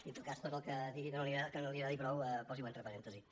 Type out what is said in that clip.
i en tot cas tot el que digui que no li agradi prou posi ho entre parèntesis